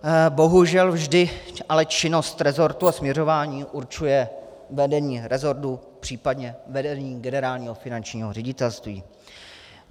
Bohužel vždy ale činnost resortu a směřování určuje vedení resortu, případně vedení Generálního finančního ředitelství.